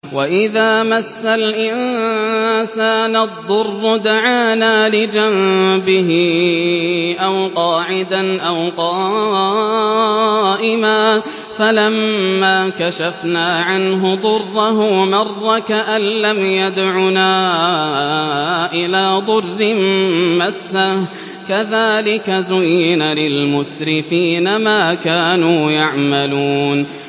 وَإِذَا مَسَّ الْإِنسَانَ الضُّرُّ دَعَانَا لِجَنبِهِ أَوْ قَاعِدًا أَوْ قَائِمًا فَلَمَّا كَشَفْنَا عَنْهُ ضُرَّهُ مَرَّ كَأَن لَّمْ يَدْعُنَا إِلَىٰ ضُرٍّ مَّسَّهُ ۚ كَذَٰلِكَ زُيِّنَ لِلْمُسْرِفِينَ مَا كَانُوا يَعْمَلُونَ